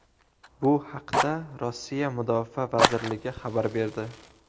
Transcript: Bu haqda Rossiya Mudofaa vazirligi xabar berdi .